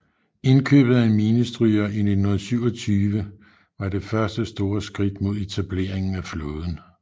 Indkøbet af en minestryger i 1927 var det første store skridt mod etableringen af flåden